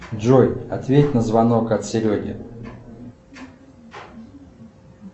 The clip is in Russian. джой ответь на звонок от сереги